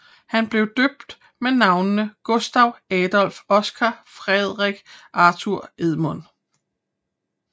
Han blev døbt med navnene Gustaf Adolf Oscar Fredrik Arthur Edmund